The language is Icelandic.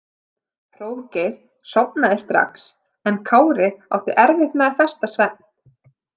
Hróðgeir sofnaði strax en Kári átti erfitt með að festa svefn.